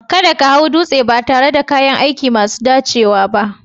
Kada ka hau dutse ba tare da kayan aiki masu dacewa ba